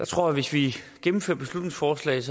tror at hvis vi gennemfører beslutningsforslaget